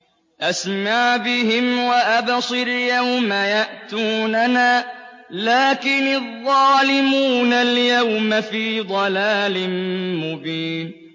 أَسْمِعْ بِهِمْ وَأَبْصِرْ يَوْمَ يَأْتُونَنَا ۖ لَٰكِنِ الظَّالِمُونَ الْيَوْمَ فِي ضَلَالٍ مُّبِينٍ